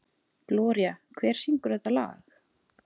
Gloría, hver syngur þetta lag?